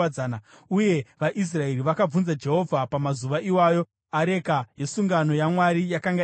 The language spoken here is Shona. Uye vaIsraeri vakabvunza Jehovha. (Pamazuva iwayo, areka yesungano yaMwari yakanga iripo,